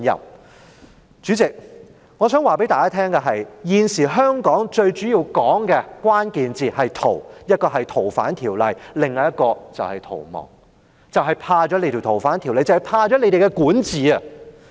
代理主席，我想告訴大家的是，現時香港社會的討論最主要的關鍵字是"逃"，一個是"逃犯條例"，另一個是逃亡，正正是因為怕了"逃犯條例"、怕了你們的管治。